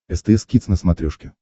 стс кидс на смотрешке